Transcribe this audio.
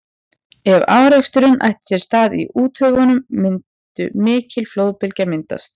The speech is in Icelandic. ef áreksturinn ætti sér stað í úthöfunum mundi mikil flóðbylgja myndast